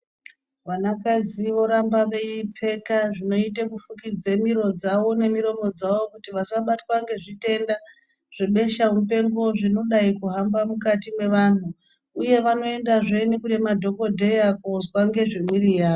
Vanakadzi voramba veipfeka zvinoite kufukidze miro dzavo nemiromo dzavo kuti vasabatwa ngezvitenda, zvebeshamupengo zvinodai kuhamba mukati mwevanhu, uye vanoendahe nekunemadhokodheya koozwa ngezvemwiri yavo.